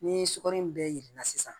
Ni sukaro in bɛ yirana sisan